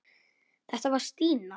Þetta var Stína.